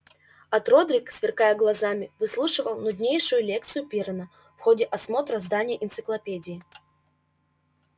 от родрик сверкая глазами выслушивал нуднейшую лекцию пиренна в ходе осмотра здания энциклопедии